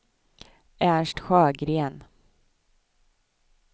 Ernst Sjögren